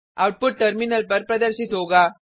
output terminal पर प्रदर्शित होगा